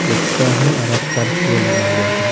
Rickshaw है और Scorpio लगा हुआ है।